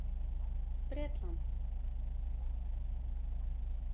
Bretland